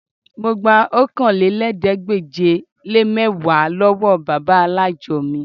Mo gba Okòólélẹ́ẹ̀ẹ́dégbèje-le-mẹ́wàá lọ́wọ́ bàbá alájọ mi